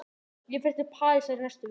Ég fer til Parísar í næstu viku.